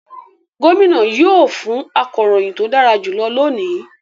Gómìnà yóò fún akọ̀ròyìn tó dára jùlọ lónìí